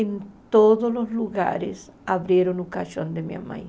Em todos os lugares, abriram o caixão de minha mãe.